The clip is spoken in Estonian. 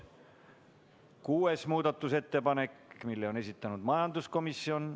Ka kuuenda muudatusettepaneku on esitanud majanduskomisjon.